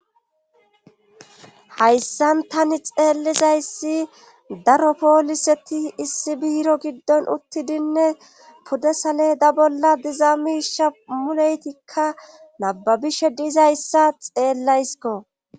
hayssan tani xeellizayssi daro pooliseti issi biiro giddon uttidinne puddesale da bolla dizaamisha muleytikka nababishe diizayssa xeellaysko